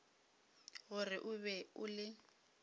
gore o be o le